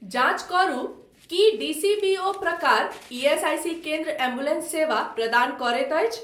जाँच करू की डीसीबीओ प्रकार ईएसआईसी केन्द्र एम्बुलेंस सेवा प्रदान करैत अछि?